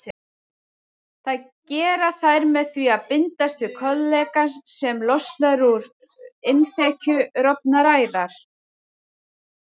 Það gera þær með því að bindast við kollagen sem losnar úr innþekju rofinnar æðar.